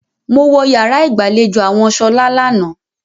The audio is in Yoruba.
Mo wọ yàrá ìgbàlejò àwọn Ṣọlá lánàá.